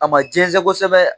A ma jɛnsɛn kosɛbɛ